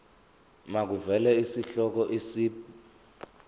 makuvele isihloko isib